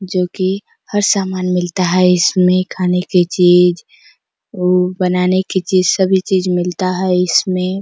जो की हर सामान मिलता है इसमें खाने की चीज अउ बनाने की चीज सभी चीज मिलता है इसमें --